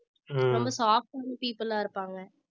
ரொம்ப soft ஆனா people ஆ இருப்பாங்க